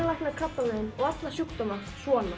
lækna krabbamein og alla sjúkdóma svona